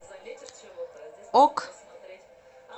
ок